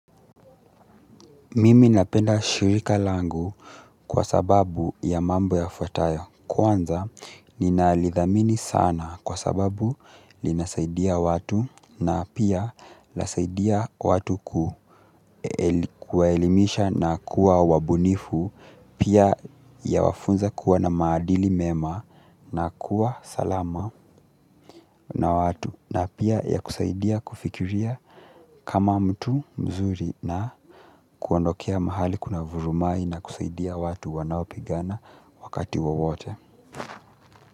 Mimi napenda shirika langu kwa sababu ya mambo yafuatayo kwanza ninalithamini sana kwa sababu linasaidia watu na pia lasaidia watu kuwaelimisha na kuwa wabunifu pia yawafunza kuwa na maadili mema na kuwa salama na watu na pia yakusaidia kufikiria kama mtu mzuri na kuondokea mahali kuna vurumai na kusaidia. Watu wanaopigana wakati wowote.